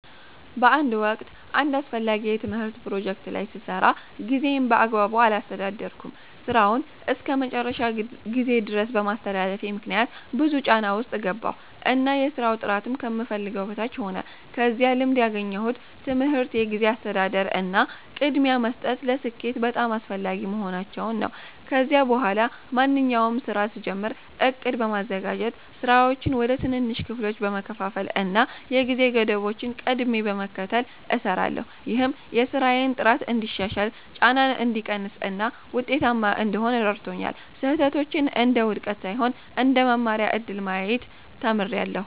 በአንድ ወቅት አንድ አስፈላጊ የትምህርት ፕሮጀክት ላይ ስሰራ ጊዜዬን በአግባቡ አላስተዳደርኩም። ሥራውን እስከ መጨረሻው ጊዜ ድረስ በማስተላለፌ ምክንያት ብዙ ጫና ውስጥ ገባሁ እና የሥራው ጥራትም ከምፈልገው በታች ሆነ። ከዚህ ልምድ ያገኘሁት ትምህርት የጊዜ አስተዳደር እና ቅድሚያ መስጠት ለስኬት በጣም አስፈላጊ መሆናቸውን ነው። ከዚያ በኋላ ማንኛውንም ሥራ ስጀምር ዕቅድ በማዘጋጀት፣ ሥራዎችን ወደ ትንንሽ ክፍሎች በመከፋፈል እና የጊዜ ገደቦችን ቀድሜ በመከተል እሰራለሁ። ይህም የሥራዬን ጥራት እንዲሻሻል፣ ጫናን እንዲቀንስ እና ውጤታማ እንድሆን ረድቶኛል። ስህተቶችን እንደ ውድቀት ሳይሆን እንደ መማሪያ እድል ማየት ተምሬያለሁ።